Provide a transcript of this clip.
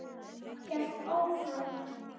Hélt áfram.